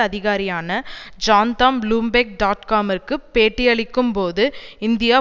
அதிகாரியான ஜான்தாம் Bloomberg dot காமிற்கு பேட்டியளிக்கும் போது இந்தியா